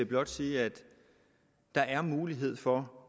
blot sige at der er en mulighed for